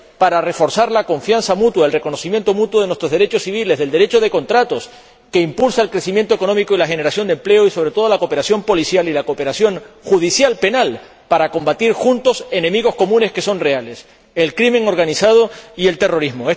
para reforzar la confianza mutua, el reconocimiento mutuo de nuestros derechos civiles, del derecho de contratos, que impulsa el crecimiento económico y la generación de empleo, y, sobre todo, la cooperación policial y la cooperación judicial penal para combatir juntos enemigos comunes que son reales el crimen organizado y el terrorismo.